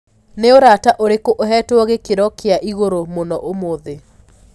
ni urata ũrĩkũ uhetwo gĩkĩro kĩa ĩgũrũ mũno umuthi